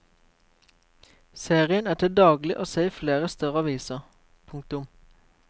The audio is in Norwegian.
Serien er til daglig å se i flere større aviser. punktum